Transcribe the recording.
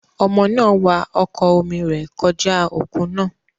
Ọmọ náà wa ọkọ̀ omi rẹ̀ kọjá òkun náà.